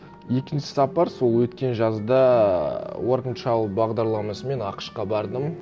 екінші сапар сол өткен жазда уорк энд шалу бағдарламасымен ақш қа бардым